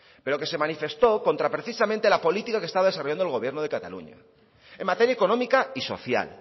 pero que se manifestó contra precisamente la política que estaba desarrollando el gobierno de cataluña en materia económica y social